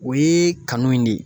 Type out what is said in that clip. O ye kanu in de ye